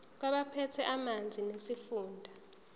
kwabaphethe ezamanzi nesifunda